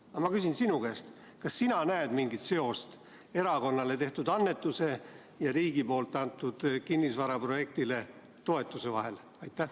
Aga ma küsin sinu käest: kas sina näed mingit seost erakonnale tehtud annetuse ja riigi poolt kinnisvaraprojektile antud toetuse vahel?